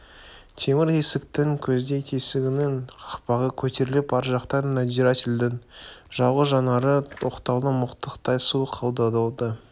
темір есіктің көздей тесігінің қақпағы көтеріліп ар жақтан надзирательдің жалғыз жанары оқтаулы мылтықтай суық қадалды